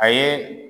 A ye